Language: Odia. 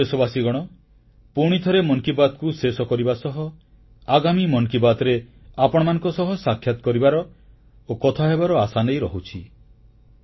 ମୋର ପ୍ରିୟ ଦେଶବାସୀଗଣ ପୁଣି ଥରେ ମନ୍ କି ବାତ୍କୁ ଶେଷ କରିବା ସହ ଆଗାମୀ ମନ୍ କି ବାତ୍ରେ ଆପଣମାନଙ୍କ ସହ ସାକ୍ଷାତ କରିବାର ଓ କଥା ହେବାର ଆଶାନେଇ ରହୁଛି